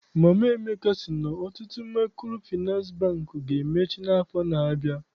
Mama Emeka sị na ọtụtụ Maịkrofịnansị Bankị ga-emechi n'afọ na-abịa.